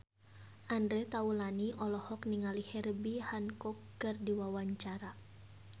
Andre Taulany olohok ningali Herbie Hancock keur diwawancara